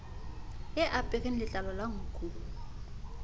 e apereng letlalo la nku